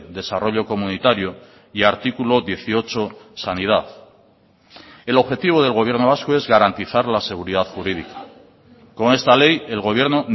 desarrollo comunitario y artículo dieciocho sanidad el objetivo del gobierno vasco es garantizar la seguridad jurídica con esta ley el gobierno